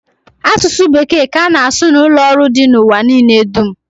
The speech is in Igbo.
Asụsụ bekee ka ana asụ n'ụlọ ọrụ dị n'ụwa niile dum